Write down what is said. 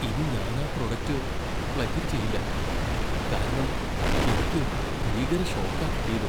ഇനി ഞാൻ ആ പ്രൊഡക്റ്റ് പ്ലഗ് ഇൻ ചെയ്യില്ല, കാരണം എനിക്ക് ഭീകര ഷോക്കാ കിട്ടീത്.